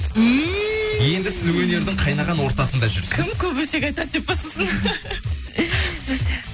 ммм енді сіз өнердің қайнаған ортасында жүрсіз кім көп өсек айтады деп па сосын